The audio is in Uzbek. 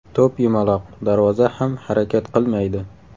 To‘p yumaloq, darvoza ham harakat qilmaydi.